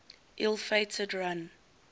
ill fated run